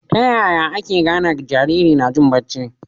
taya ake gane Jariri najin bacci